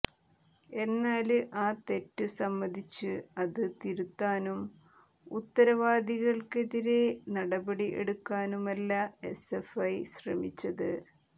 എന്നാല് ആ തെറ്റ് സമ്മതിച്ച് അത് തിരുത്താനും ഉത്തരവാദികള്ക്കെതിരെ നടപടി എടുക്കാനുമല്ല എസ്എഫ്ഐ ശ്രമിച്ചത്